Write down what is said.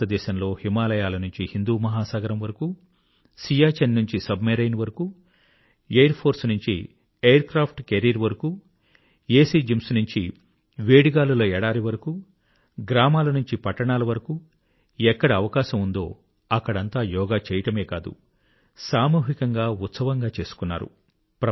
భారతదేశంలో హిమాలయాల నుంచి హిందూ మహాసాగరం వరకూ సియాచిన్ నుంచీ సబ్ మెరైన్ వరకూ ఎయిర్ఫోర్ నుంచీ ఎయిర్క్రాఫ్ట్ క్యారియర్స్ వరకూ ఏసీ జిమ్స్ నుంచి వేడిగాలుల ఎడారి వరకూ గ్రామాలనుంచీ పట్టణాలవరకూ ఎక్కడ అవకాశం ఉందో అక్కడంతా యోగా చేయడమే కాదు సామూహికంగా ఉత్సవంగా చేసుకున్నారు